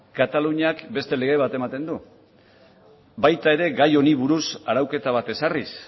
kataluniak beste lege bat ematen du baita ere gai honi buruz arauketa bat ezarriz